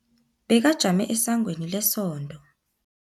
Bekajame esangweni lesonto.